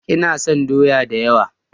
Ina son doya da yawa.